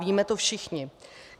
Víme to všichni.